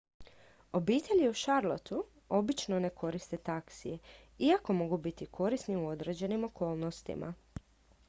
obitelji u charlotteu obično ne koriste taksije iako mogu biti korisni u određenim okolnostima